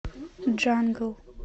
джангл